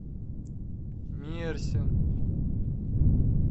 мерсин